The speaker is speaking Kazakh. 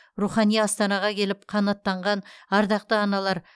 рухани астанаға келіп қанаттанған ардақты аналар